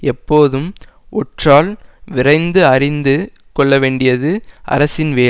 எப்போதும் ஒற்றால் விரைந்து அறிந்து கொள்ள வேண்டியது அரசின் வேலை